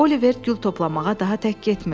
Oliver gül toplamağa daha tək getmirdi.